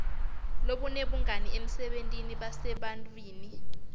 lobunebungani emsebentini nasebantfwini